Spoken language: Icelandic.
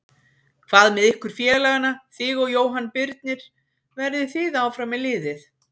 Hvað með ykkur félagana þig og Jóhann Birnir, verðið þið áfram með liðið?